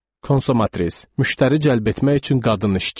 Konsomatris, müştəri cəlb etmək üçün qadın işçi.